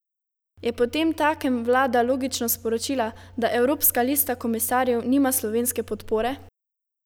Je potemtakem vlada logično sporočila, da evropska lista komisarjev nima slovenske podpore?